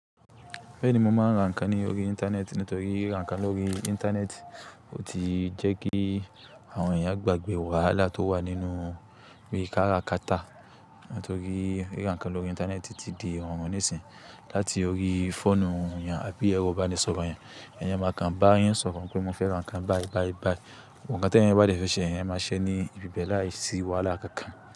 Bẹ́ẹ̀ni mo máa ń ra nǹkan ní orí Íńtánẹ́ẹ̀tì nítorí ra nǹkan lórí Íńtánẹ́ẹ̀tì ó ti jẹ́ kí àwọn èèyàn gbàgbé wàhálà tó wà nínú yí kára kata. Nítorí ra nǹkan lórí Íńtánẹ́ẹ̀tì ti di ìrọ̀rùn nísìnyí. Láti orí fóònù yan, àbí ẹrọ ibá ni sọ̀rọ̀ yan, èèyàn máa kan bá yan sọ̀rọ̀ pé mo fẹ́ ra nǹkan báì báì báì. Òun kàn tí ẹ̀yan bá dẹ́ fẹ ṣe, èèyàn máa ṣe ní ibi bẹ́ẹ̀ láìsí wàhálà kankan.